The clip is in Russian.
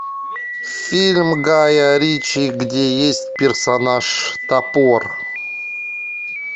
фильм гая ричи где есть персонаж топор